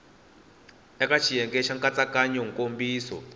eka xiyenge xa nkatsakanyo nkomiso